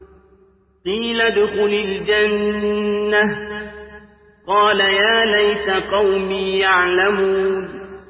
قِيلَ ادْخُلِ الْجَنَّةَ ۖ قَالَ يَا لَيْتَ قَوْمِي يَعْلَمُونَ